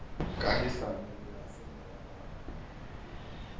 kahisano le a semoya a